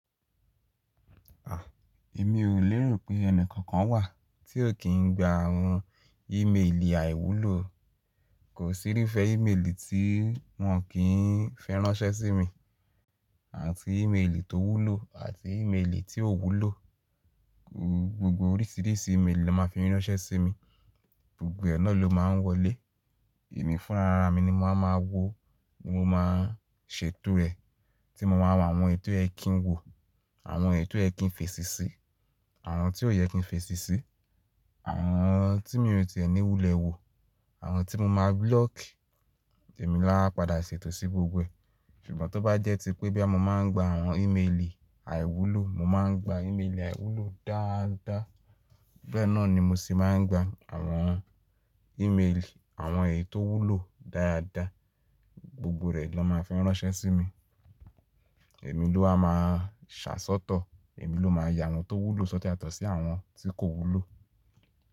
Èmi ò léro pé ẹni kankan wà tí ò kí ń gba àwọn ímeèlì àìwúlò. Kò sí rí fẹ́ ímeèlì tí wọ́n kì ń fẹ́ ránṣẹ́ sí mi, àti ímeèlì tó wúlò àti ímeèlì tí ò wúlò. Gbogbo oríṣìíríṣìí ímeèlì ló máa fi ránṣẹ́ sí mi, gbogbo ẹ nà ló máa ń wọlé. Èmi fún ara mi ni máa ma wo, mo máa ṣètò ẹ̀ tí mo máa wo àwọn èyi tò ye kín wò, àwọn èyi tò ye kín fèsì sí, àwọn tí ò yẹ kí n fèsì sí, àwọn tí mi ò tìẹ́ni wúlẹ̀ wò, àwọn tí mo máa block, èmi ló á padà ṣètò sí gbogbo ẹ̀. Ṣùgbọ́n tó bá jẹ́ ti pé boya mo máa ń gba àwọn ímeèlì àìwúlò, mo máa ń gba ímeèlì àìwúlò dáadáa, gbọ̀n náà ni mo sì máa ń gba àwọn ímeèlì àwọn èyí tó wúlò dáadáa, gbogbo rẹ̀ ló máa fẹ́ ránṣẹ́ sí mi. Èmi ló wa máa ṣàṣọ́tọ̀, èmi ló máa ya àwọn tó wúlò sọ́tor yatọ̀ sí àwọn tí kò wúlò.